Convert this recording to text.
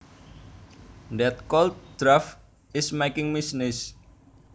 That cold draft is making me sneeze